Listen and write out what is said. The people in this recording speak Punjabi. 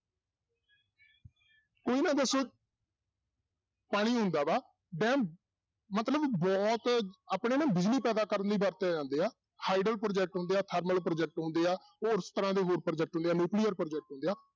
ਉਹ ਪਾਣੀ ਹੁੰਦਾ ਵਾ ਡੈਮ ਮਤਲਬ ਬਹੁਤ ਆਪਣੇ ਨਾ ਬਿਜ਼ਲੀ ਪੈਦਾ ਕਰਨ ਲਈ ਵਰਤੇ ਜਾਂਦੇ ਆ project ਹੁੁੰਦੇ ਆ, ਥਰਮਲ project ਹੁੰਦੇ ਆ, ਉਸ ਤਰ੍ਹਾਂ ਦੇ ਹੋਰ project ਹੁੰਦੇ ਆ nuclear project ਹੁੰਦੇ ਆ,